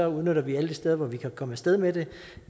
udnytter vi alle de steder vi kan komme af sted med det